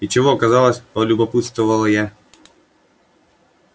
и чего оказалось полюбопытствовала я